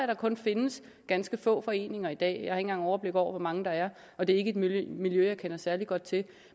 der kun findes ganske få foreninger i dag jeg har ikke engang overblik over hvor mange der er og det er ikke et miljø jeg kender særlig godt til